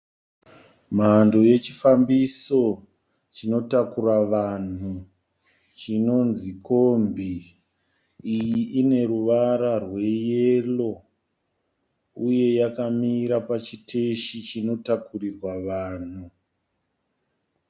Mhando yechifambiso chinotakura vanhu chinonzi kombi. Iyi ine ruvara rweyero uye yakamira pachiteshi chinotakurirwa vanhu.